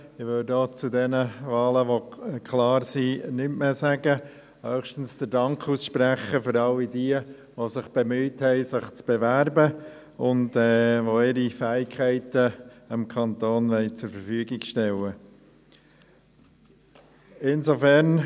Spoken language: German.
Zu den Wahlen, die klar sind, sage ich auch nichts mehr und spreche höchstens all jenen den Dank aus, die sich beworben haben und ihre Fähigkeiten dem Kanton zur Verfügung stellen wollen.